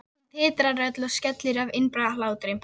Hún titrar öll og skelfur af innibyrgðum hlátri.